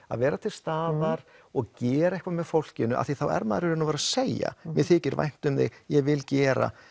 að vera til staðar og gera eitthvað með fólkinu því þá er maður í raun og veru að segja mér þykir vænt um þig ég vil gera